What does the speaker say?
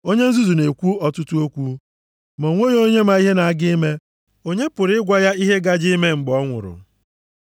Onye nzuzu na-ekwu ọtụtụ okwu. Ma o nweghị onye ma ihe na-aga ime, onye pụrụ ịgwa ya ihe gaje ime mgbe ọ nwụrụ?